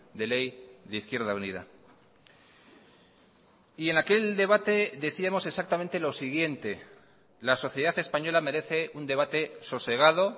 de ley de izquierda unida y en aquel debate decíamos exactamente lo siguiente la sociedad española merece un debate sosegado